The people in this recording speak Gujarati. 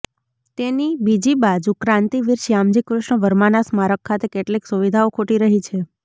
તેની બીજીબાજુ ક્રાંતિવીર શ્યામજી કૃષ્ણ વર્માના સ્મારક ખાતે કેટલીક સુવિધાઓ ખૂટી રહી છે